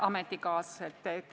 Head ametikaaslased!